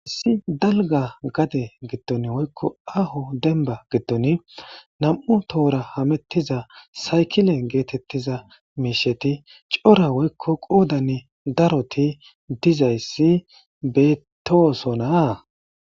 Issi dalgga gade giddon woykko aaho dembba giddon nam7u tohora hamettiza saykile geetettiza miisheti cora woykko qoodani daroti dizayssi beetoosona.